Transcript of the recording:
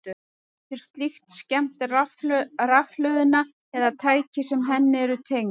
Getur slíkt skemmt rafhlöðuna eða tæki sem henni eru tengd?